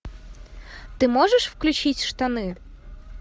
ты можешь включить штаны